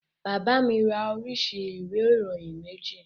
Bàbá mi ra oríṣi ìwé ìròyìn méjì